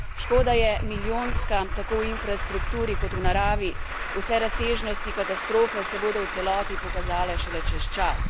Škoda je milijonska, tako v infrastrukturi kot v naravi, vse razsežnosti katastrofe se bodo v celoti pokazale šele čez čas.